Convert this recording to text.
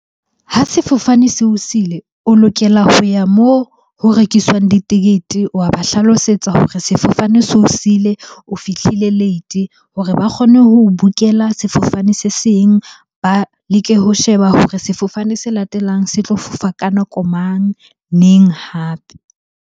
Ha sefofane se o sile, o lokela ho ya moo ho rekiswang ditekete. Wa ba hlalosetsa hore sefofane se o siile, o fihlile late hore ba kgone ho book-ela sefofane se seng. Ba leke ho sheba hore sefofane se latelang se tlo fofa ka nako mang? Neng hape?